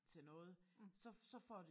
Til noget så så får det